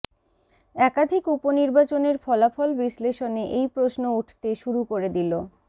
একাধিক উপনির্বাচনের ফলাফল বিশ্লেষণে এই প্রশ্ন উঠতে শুরু করে দিল